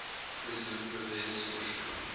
president pervez musharraf